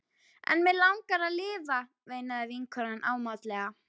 En mig langar að lifa, veinaði vinkonan ámátlega.